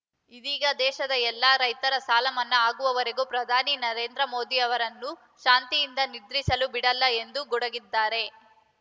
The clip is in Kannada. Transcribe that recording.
ಇದೀಗ ದೇಶದ ಎಲ್ಲ ರೈತರ ಸಾಲ ಮನ್ನಾ ಆಗುವವರೆಗೆ ಪ್ರಧಾನಿ ನರೇಂದ್ರ ಮೋದಿ ಅವರನ್ನು ಶಾಂತಿಯಿಂದ ನಿದ್ರಿಸಲು ಬಿಡಲ್ಲ ಎಂದು ಗುಡುಗಿದ್ದಾರೆ